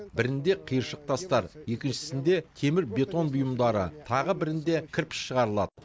бірінде қиыршық тастар екіншісінде темір бетон бұйымдары тағы бірінде кірпіш шығарылады